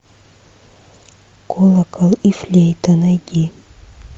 колокол и флейта найди